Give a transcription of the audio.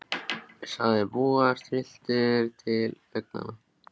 sagði Bóas, trylltur til augnanna.